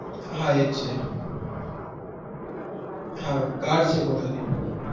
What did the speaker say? હા એ છે car છે પોતાની